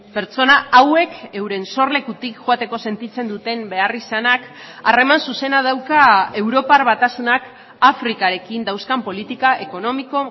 pertsona hauek euren sorlekutik joateko sentitzen duten beharrizanak harreman zuzena dauka europar batasunak afrikarekin dauzkan politika ekonomiko